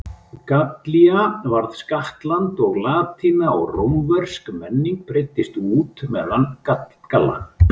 Gallía varð skattland og latína og rómversk menning breiddist út meðal Galla.